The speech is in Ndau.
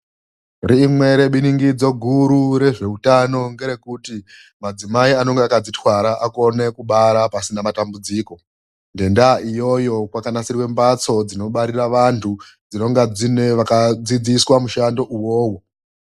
Rimwe rebiringidzo guru rezveutano ngerekuti, madzimai anonga akadzitwara akone kubara pasina matambudziko. Ngendaa iyoyo kwakanasiridzwe mhatso dzinobarira vantu, dzinonga dziine vakadzidziswa mushando uwowo.